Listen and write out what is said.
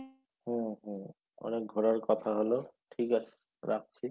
হুম হুম অনেক ঘোরার কথা হলো ঠিক আছে রাখছি